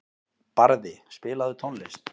Barði, spilaðu tónlist.